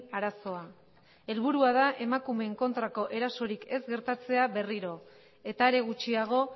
arazoa helburua da emakumeen kontrako erasorik ez gertatzea berriro eta are gutxiago